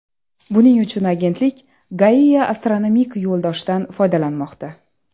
Buning uchun agentlik Gaia astronomik yo‘ldoshdan foydalanmoqda.